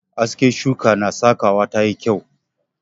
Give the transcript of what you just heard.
Aske shuka na sakawa ta yi kyau.